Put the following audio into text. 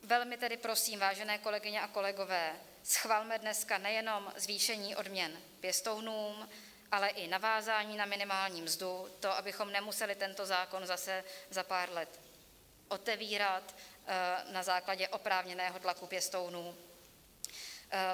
Velmi tedy prosím, vážené kolegyně a kolegové, schvalme dneska nejenom zvýšení odměn pěstounům, ale i navázání na minimální mzdu, to, abychom nemuseli tento zákon zase za pár let otevírat na základě oprávněného tlaku pěstounů.